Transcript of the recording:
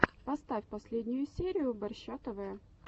поставь последнюю серию борща тв